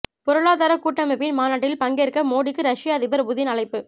பொருளாதார கூட்டமைப்பின் மாநாட்டில் பங்கேற்க மோடிக்கு ரஷ்ய அதிபர் புதின் அழைப்பு